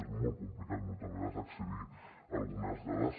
és molt complicat moltes vegades accedir a algunes dades